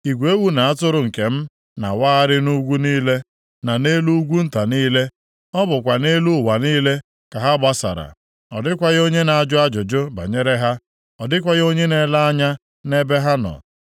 Igwe ewu na atụrụ nke m na-awagharị nʼugwu niile, na nʼelu ugwu nta niile. Ọ bụkwa nʼelu ụwa niile ka ha gbasara. Ọ dịkwaghị onye na-ajụ ajụjụ banyere ha. Ọ dịkwaghị onye na-elenye anya nʼebe ha nọ.